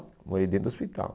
Morei dentro do hospital.